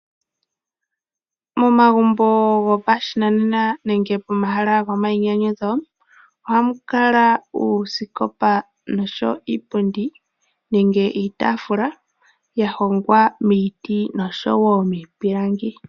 Momagumbo gopashinanena nenge pomahala gomainyanyudho oha mu kala uusikopa noshowo iipundi, nenge iitafula ya honga miiti noshowo miipilangi.